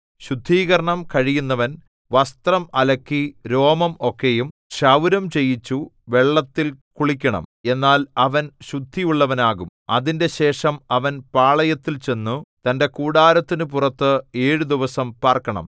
ശുദ്ധീകരണം കഴിയുന്നവൻ വസ്ത്രം അലക്കി രോമം ഒക്കെയും ക്ഷൗരം ചെയ്യിച്ചു വെള്ളത്തിൽ കുളിക്കണം എന്നാൽ അവൻ ശുദ്ധിയുള്ളവനാകും അതിന്‍റെശേഷം അവൻ പാളയത്തിൽ ചെന്നു തന്റെ കൂടാരത്തിനു പുറത്ത് ഏഴു ദിവസം പാർക്കണം